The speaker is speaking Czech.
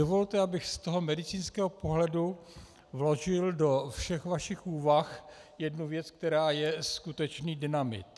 Dovolte, abych z toho medicínského pohledu vložil do všech vašich úvah jednu věc, která je skutečný dynamit.